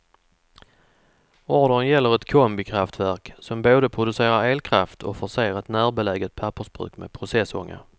Ordern gäller ett kombikraftverk som både producerar elkraft och förser ett närbeläget pappersbruk med processånga.